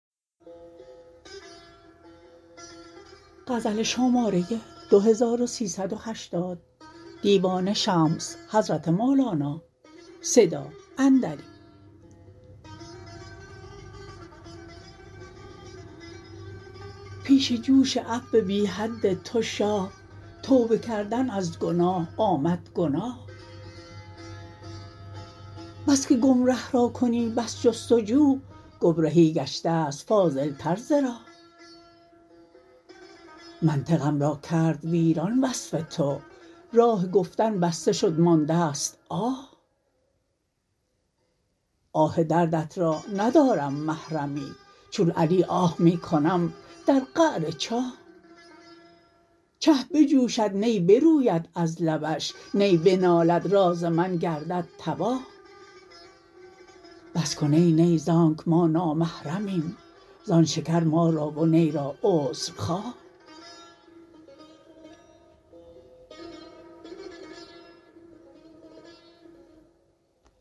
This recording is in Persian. پیش جوش عفو بی حد تو شاه توبه کردن از گناه آمد گناه بس که گمره را کنی بس جست و جو گمرهی گشته ست فاضلتر ز راه منطقم را کرد ویران وصف تو راه گفتن بسته شد مانده ست آه آه دردت را ندارم محرمی چون علی اه می کنم در قعر چاه چه بجوشد نی بروید از لبش نی بنالد راز من گردد تباه بس کن ای نی ز آنک ما نامحرمیم زان شکر ما را و نی را عذر خواه